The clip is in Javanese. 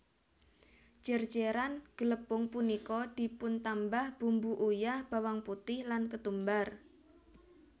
Jer jeran glepung punika dipuntambah bumbu uyah bawang putih lan ketumbar